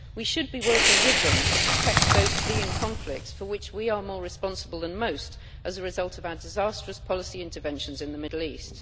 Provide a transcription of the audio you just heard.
We should be working with them to protect those fleeing conflicts for which we are more responsible than most as a result of our disastrous policy interventions in the Middle East.